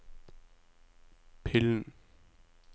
pillen